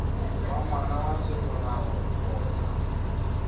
wa ngwana wa semolao kgotsa